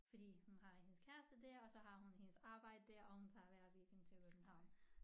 Fordi hun har hendes kæreste dér og så har hun hendes arbejde dér og hun tager hver weekend til København